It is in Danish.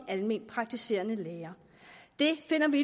alment praktiserende læger det finder vi